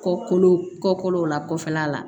Kɔkolo kɔkɔw la kɔfɛla la